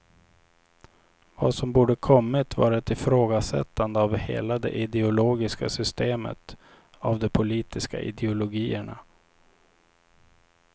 Vad som borde kommit var ett ifrågasättande av hela det ideologiska systemet, av de politiska ideologierna.